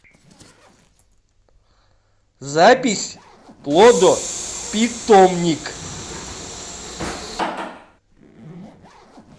запись плодопитомник